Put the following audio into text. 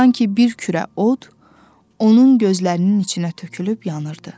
Sanki bir kürə od onun gözlərinin içinə tökülüb yanırdı.